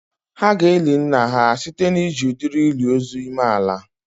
Ha ga-eli nna ha site na iji udiri ili ozu ime ala